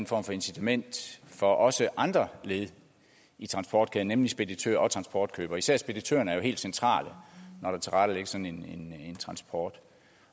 form for incitament for også andre led i transportkæden nemlig speditører og transportkøbere især speditørerne er jo helt centrale når der tilrettelægges sådan en transport